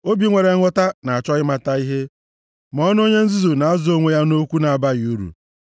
Obi nwere nghọta na-achọ ịmata ihe, ma ọnụ onye nzuzu na-azụ onwe ya nʼokwu na-abaghị uru.